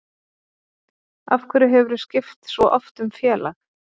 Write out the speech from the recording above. Af hverju hefurðu skipt svo oft um félag?